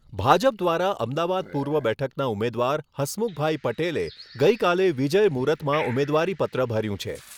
ભાજપ દ્વારા અમદાવાદ પૂર્વ બેઠકના ઉમેદવાર હસમુખભાઈ પટેલે ગઈકાલે વિજય મુર્હુતમાં ઉમેદવારીપત્ર ભર્યું છે.